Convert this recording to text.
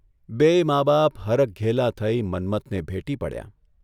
બેય મા બાપ હરખઘેલાં થઇ મન્મથને ભેટી પડ્યાં.